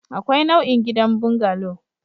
Akwai nau'in gidan bungalow